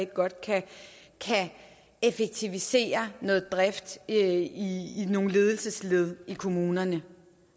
godt kan effektivisere noget drift i nogle ledelsesled i kommunerne